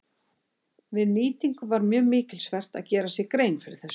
Við nýtingu var mjög mikilsvert að gera sér grein fyrir þessu.